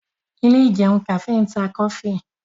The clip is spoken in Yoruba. Ilé ìjẹun kàfé ń ta kọfí